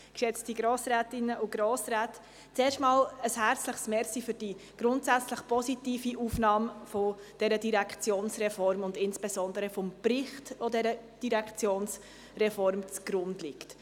Zuerst einmal ein herzliches Dankeschön für die grundsätzlich positive Aufnahme dieser Direktionsreform und insbesondere des Berichts, der dieser Direktionsreform zugrunde liegt.